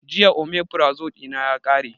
Jiya omefrazo ɗina ya ƙare